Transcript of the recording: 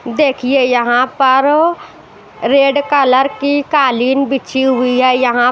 देखिए यहां पर रेड कलर की कालीन बिछी हुई है यहां--